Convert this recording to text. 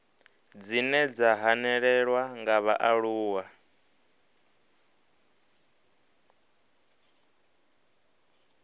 dzine dza hanelelwa nga vhaaluwa